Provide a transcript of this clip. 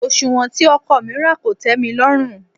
Òsùwọ́n tí ọkọ̀ mi rà kò tẹ́milọ́rùn.